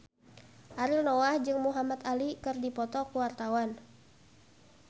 Ariel Noah jeung Muhamad Ali keur dipoto ku wartawan